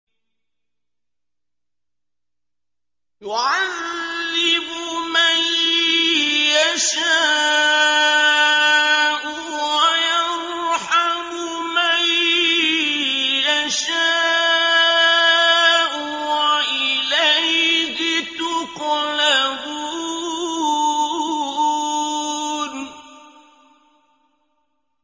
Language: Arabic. يُعَذِّبُ مَن يَشَاءُ وَيَرْحَمُ مَن يَشَاءُ ۖ وَإِلَيْهِ تُقْلَبُونَ